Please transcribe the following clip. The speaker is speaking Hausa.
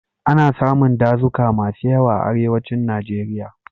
Ana samun dazuka masu yawa a Arewacin Najeriya.